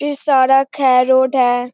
इ सड़क है रोड है।